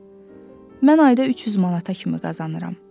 Mən ayda 300 manata kimi qazanıram.